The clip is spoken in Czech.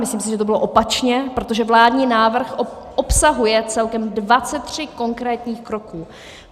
Myslím si, že to bylo opačně, protože vládní návrh obsahuje celkem 23 konkrétních kroků.